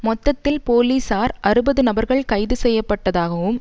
மொத்தத்தில் போலீசார் அறுபது நபர்கள் கைதுசெய்யப்பட்டதாகவும்